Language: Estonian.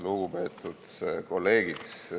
Lugupeetud kolleegid!